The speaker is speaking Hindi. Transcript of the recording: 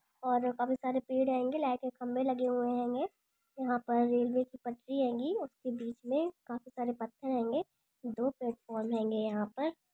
ये एक रेलवे स्टेशन है पहले यहाँ कुछ लिखा हुआ इधर और बोर्ड लगा हुआ है इसके बगल में कुछ लोग बैठे हुए हैंगे चेयर बनी हुई है और काफी सारे पेड़ हैंगे लाइटें सब में लगे हुए हैंगे यहाँ पर रेलवे की पटरी हैंगी उसके बीच में काफी सारे पत्थर हैंगे दो प्लेटफार्म हैंगे यहाँ पर--